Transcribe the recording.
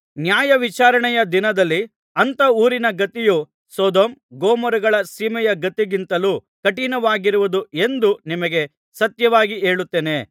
ನ್ಯಾಯವಿಚಾರಣೆಯ ದಿನದಲ್ಲಿ ಅಂಥ ಊರಿನ ಗತಿಯು ಸೊದೋಮ್ ಗೊಮೋರಗಳ ಸೀಮೆಯ ಗತಿಗಿಂತಲೂ ಕಠಿಣವಾಗಿರುವುದು ಎಂದು ನಿಮಗೆ ಸತ್ಯವಾಗಿ ಹೇಳುತ್ತೇನೆ